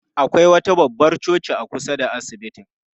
Akwai wata babbar coci a kusa da asibitin.